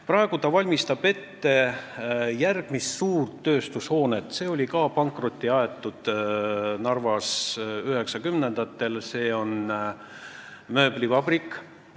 Praegu ta valmistab ette järgmist suurt tööstushoonet, mis aeti ka 1990-ndatel Narvas pankrotti.